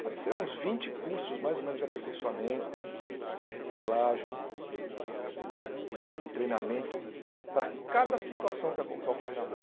Pode ser uns vinte cursos mais ou menos de aperfeiçoamento, de reciclagem, e de treinamento para cada situação que oco que ocorre na rua.